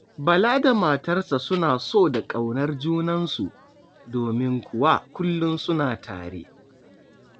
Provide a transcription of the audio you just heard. Bala da matarsa suna so da ƙaunar junansu, domin kuwa kullum suna tare.